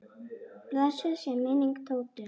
Blessuð sé minning Tótu.